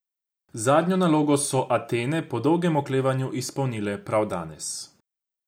Zadnjo nalogo so Atene po dolgem oklevanju izpolnile prav danes.